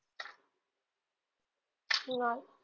नाही.